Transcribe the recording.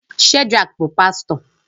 Shedrack bụ pastọ